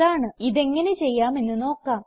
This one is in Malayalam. ഇതെങ്ങനെ ചെയ്യാമെന്ന് നോക്കാം